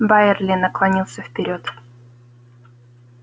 байерли наклонился вперёд